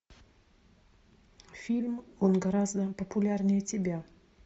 фильм он гораздо популярнее тебя